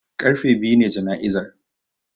Karfe biyu ne jana'izar